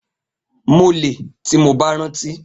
Mo le, ti mo ba ranti.